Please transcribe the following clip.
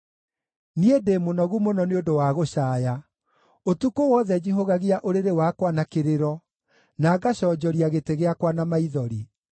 Niĩ ndĩ mũnogu mũno nĩ ũndũ wa gũcaaya; ũtukũ wothe njihũgagia ũrĩrĩ wakwa na kĩrĩro, na ngaconjoria gĩtĩ gĩakwa na maithori.